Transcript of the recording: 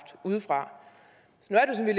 udefra